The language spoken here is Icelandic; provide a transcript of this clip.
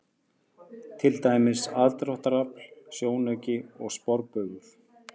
Til dæmis: aðdráttarafl, sjónauki og sporbaugur.